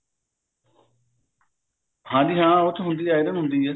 ਹਾਂਜੀ ਹਾਂ ਉਸ ਚ ਹੁੰਦੀ ਹੈ iron ਹੁੰਦੀ ਹੈ